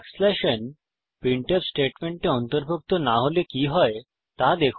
n printf স্টেটমেন্টে অন্তর্ভুক্ত না হলে কি হয় দেখুন